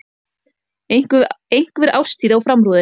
Einhver árstíð á framrúðunni.